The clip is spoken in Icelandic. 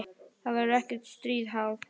Það verður ekkert stríð háð.